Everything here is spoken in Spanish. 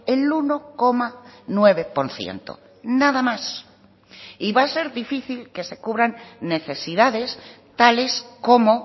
el uno coma nueve por ciento nada más y va a ser difícil que se cubran necesidades tales como